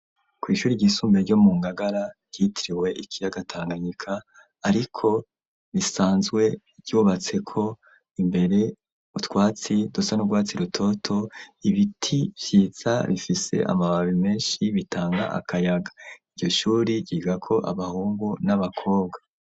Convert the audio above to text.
Kw'ishuri ryisumbe, ryo mu Ngagara, ryitiriwe ikiyaga Tanganyika, ariko, risanzwe ryubatseko, imbere, utwatsi dusa n'urwatsi rutoto, ibiti vyiza, bifise amababi menshi, bitanga akayaga, iryo shuri, ryigako abahungu, n'abakobwa.